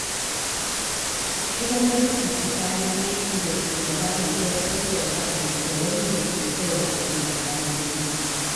Akwai bambanci tsakanin aiki da shugaba mai sassaucin ra’ayi da wanda ke bin ra'ayin gargajiyanci.